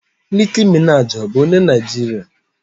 Nicki Minaji ọ bụ onye Naijiria?